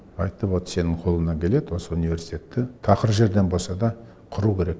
айтты вот сенің қолыңнан келеді осы университетті тақыр жерден болса да құру керек